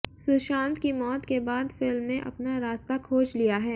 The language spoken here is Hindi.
सुशांत की मौत के बाद फिल्म ने अपना रास्ता खोज लिया है